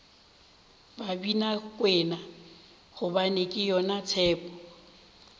babinakwena gobane ke yona tshepo